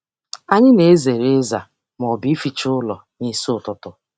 Anyị na-ezere ịza ma ọ bụ ịficha ụlọ n'isi ụtụtụ.